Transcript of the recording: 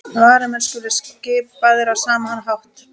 Varamenn skulu skipaðir á sama hátt